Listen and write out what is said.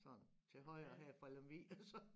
Sådan til højre her fra Lemvig og så